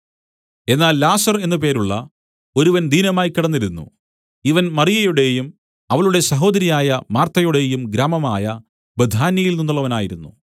എന്നാൽ ലാസർ എന്നു പേരുള്ള ഒരുവൻ ദീനമായ്ക്കിടന്നിരുന്നു ഇവൻ മറിയയുടെയും അവളുടെ സഹോദരിയായ മാർത്തയുടെയും ഗ്രാമമായ ബേഥാന്യയിൽ നിന്നുള്ളവനായിരുന്നു